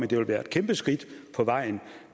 det ville være et kæmpe skridt på vejen